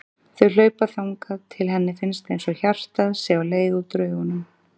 Þau hlaupa þangað til henni finnst einsog hjartað sé á leið út úr augunum.